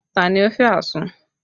Ta ni ó fẹ́ àsun?